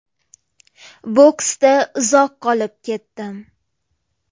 Boksda uzoq qolib ketdim.